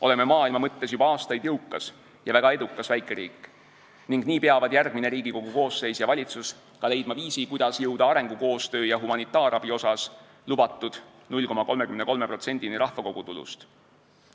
Oleme maailma mõttes juba aastaid jõukas ja väga edukas väikeriik ning nii peavad järgmine Riigikogu koosseis ja valitsus leidma viisi, kuidas jõuda arengukoostöös ja humanitaarabi andmises lubatud 0,33%-ni rahvamajanduse kogutulust.